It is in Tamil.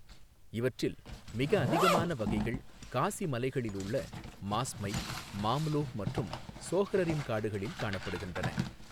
இவற்றில், மிக அதிகமான வகைகள் காசி மலைகளில் உள்ள மாஸ்மை, மாம்லூஹ் மற்றும் சோஹ்ரரிம் காடுகளில் காணப்படுகின்றன.